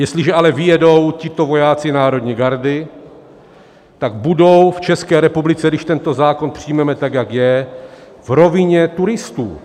Jestliže ale vyjedou tito vojáci národní gardy, tak budou v České republice, když tento zákon přijmeme tak, jak je, v rovině turistů.